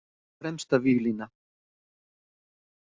Fremsta víglína.